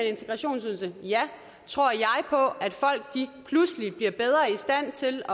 integrationsydelse er ja tror jeg på at folk pludselig bliver bedre i stand til